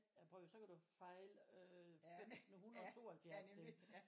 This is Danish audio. Ja prøv og hør så kan du jo fejle øh 1572 ting